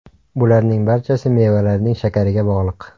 Bularning barchasi mevalarning shakariga bog‘liq.